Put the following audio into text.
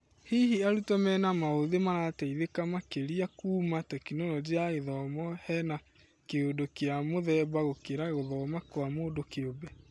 Hihi arutwo mena maũthĩ marateithĩka makĩria kuuma Tekinoronjĩ ya Gĩthomo hena kĩũndũ kĩamũthemba gũkĩra gũthoma kwa mũndũ kĩũmbe.